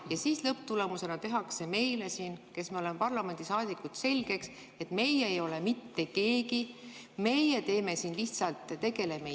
Ja siis lõpptulemusena tehakse siin meile, kes me oleme parlamendisaadikud, selgeks, et meie ei ole mitte keegi, meie tegeleme siin lihtsalt jamaga.